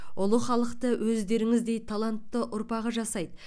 ұлы халықты өздеріңіздей талантты ұрпағы жасайды